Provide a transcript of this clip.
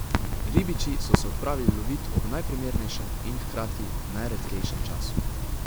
Ribiči so se odpravili lovit ob najprimernejšem in hkrati najredkejšem času.